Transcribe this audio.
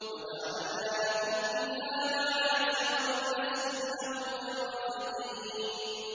وَجَعَلْنَا لَكُمْ فِيهَا مَعَايِشَ وَمَن لَّسْتُمْ لَهُ بِرَازِقِينَ